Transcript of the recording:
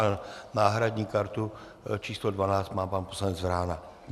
A náhradní kartu číslo 12 má pan poslanec Vrána.